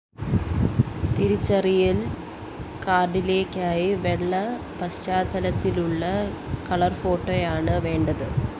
തിരിച്ചറിയല്‍ കാര്‍ഡിലേക്കായി വെള്ള പശ്ചാത്തലത്തിലുള്ള കളര്‍ഫോട്ടോയാണ് വേണ്ടത്